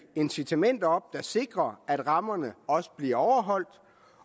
incitamenter op der sikrer at rammerne også bliver overholdt